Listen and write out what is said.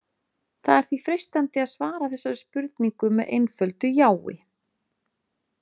Það er því freistandi að svara þessari spurningu með einföldu jái.